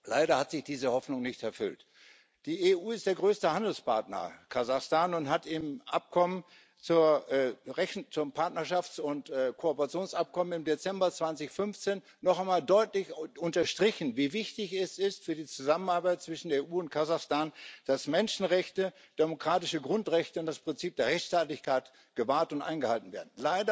Leider hat sich diese Hoffnung nicht erfüllt. Die EU ist der größte Handelspartner Kasachstans und hat im Partnerschafts und Kooperationsabkommen im Dezember 2015 noch einmal deutlich unterstrichen, wie wichtig es für die Zusammenarbeit zwischen der EU und Kasachstan ist, dass Menschenrechte, demokratische Grundrechte und das Prinzip der Rechtsstaatlichkeit gewahrt und eingehalten werden.